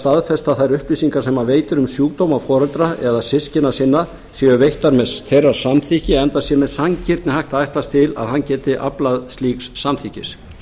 staðfesta að þær upplýsingar sem hann veitir um sjúkdóma foreldra eða systkina sinna séu veittar með þeirra samþykki enda sé með sanngirni hægt að ætlast til að hann geti aflað slíks samþykkis